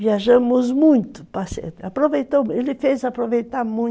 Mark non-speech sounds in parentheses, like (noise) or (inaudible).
Viajamos muito, (unintelligible) ele fez aproveitar muito, (unintelligible)